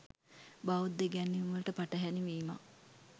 බෞද්ධ ඉගැන්වීම්වලට පටහැනි වීමත්,